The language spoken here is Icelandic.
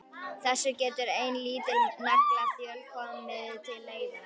Þessu getur ein lítil naglaþjöl komið til leiðar.